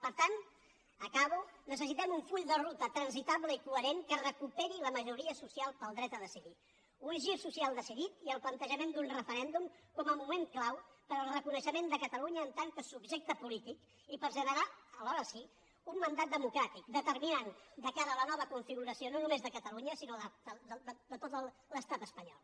per tant acabo necessitem un full de ruta transitable i coherent que recuperi la majoria social pel dret a decidir un gir social decidit i el plantejament d’un referèndum com a moment clau per al reconeixement de catalunya en tant que subjecte polític i per generar alhora sí un mandat democràtic determinant de cara a la nova configuració no només de catalunya sinó de tot l’estat espanyol